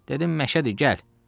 Dedim məşədir, gəl.